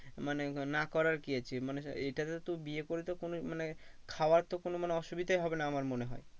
মানে না করার কি আছে মানে এটাতে তো বিয়ে করে তো কোনো মানে খাওয়ার তো কোনো মানে অসুবিধাই হবে না আমার মনে হয়।